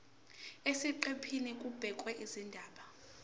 eziqephini kubhekwe izindaba